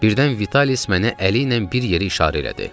Birdən Vitalis mənə əli ilə bir yerə işarə elədi.